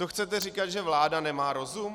To chcete říkat, že vláda nemá rozum?